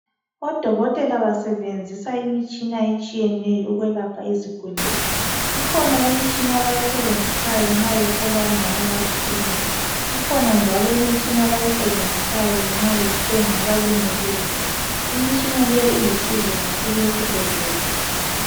Odokotela basebenzisa imitshina etshiyeneyo ukwelapha izigulani. Kukhona imitshina abayisebenzisayo nxa behlola omama abazithweleyo. Ikhona njalo eminye imitshina abayisebenzisayo nxa bethunga abantu abalimeleyo. Imitshina le ilusizo kakhulu esibhedlela.